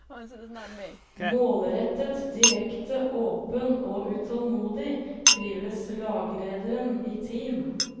Målrettet, direkte, åpen og utålmodig, trives laglederen i team.